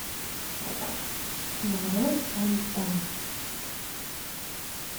нарой фонтан